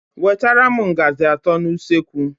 Wetara m ngazi atọ n'usekwu!!!